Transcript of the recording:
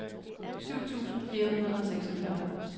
syv tusind fire hundrede og seksogfyrre